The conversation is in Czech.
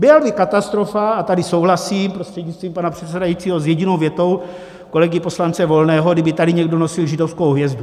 Byla by katastrofa - a tady souhlasím prostřednictvím pana přesedajícího s jedinou větou kolegy poslance Volného - kdyby tady někdo nosil židovskou hvězdu.